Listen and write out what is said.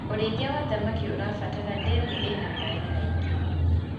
ũrĩithi wa thamakĩ ũrabatara ndemu ina maĩ maĩngi